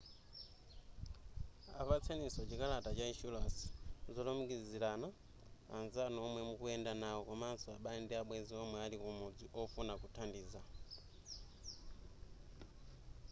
apatseniso chikalata cha inshuransi/ zolumikizirana anzanu omwe mukuyenda nawo komaso abale ndi abwenzi omwe ali kumudzi ofuna kuthandiza